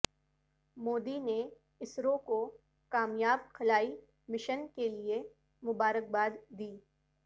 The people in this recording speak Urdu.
مودی نے اسرو کو کامیاب خلائی مشن کے لئے مبارکباد دی